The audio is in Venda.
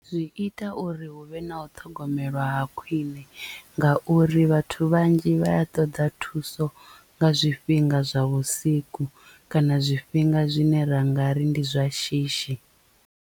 Zwi ita uri hu vhe na u ṱhogomelwa ha khwiṋe ngauri vhathu vhanzhi vha ya ṱoḓa thuso nga zwifhinga zwa vhusiku kana zwifhinga zwine ra nga ri ndi zwa shishi.